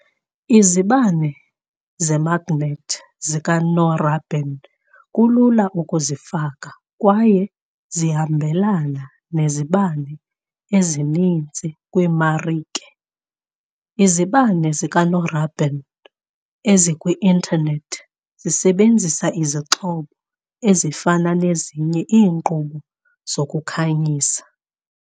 Izibane zemagnethi zikanorabin kulula ukuzifaka kwaye ziyahambelana nezibane ezininzi kwimarike, izibane zikanorabin ezikwi-intanethi zisebenzisa izixhobo ezifanayo nezinye iinkqubo zokukhanyisa.